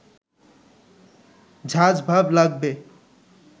ঝাঁজ ভাব লাগবে